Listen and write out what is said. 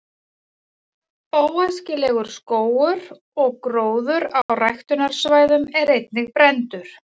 „óæskilegur“ skógur og gróður á ræktunarsvæðum er einnig brenndur